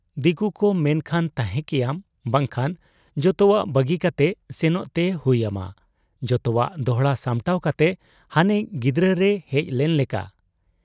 ᱫᱤᱠᱩᱠᱚ ᱢᱮᱱᱠᱷᱟᱱ ᱛᱟᱦᱮᱸ ᱠᱮᱭᱟᱢ, ᱵᱟᱝᱠᱷᱟᱱ ᱡᱚᱛᱚᱣᱟᱜ ᱵᱟᱹᱜᱤ ᱠᱟᱛᱮ ᱥᱮᱱᱚᱜ ᱛᱮ ᱦᱩᱭ ᱟᱢᱟ ᱡᱚᱛᱚᱣᱟᱜ ᱫᱚᱦᱲᱟ ᱥᱟᱢᱴᱟᱣ ᱠᱟᱛᱮ ᱦᱟᱱᱮ ᱜᱤᱫᱟᱹᱨ ᱨᱮᱭ ᱦᱮᱡ ᱞᱮᱱ ᱞᱮᱠᱟ ᱾